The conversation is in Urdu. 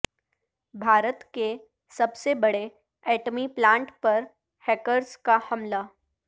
بھارت کے سب سے بڑے ایٹمی پلانٹ پر ہیکرز کا حملہ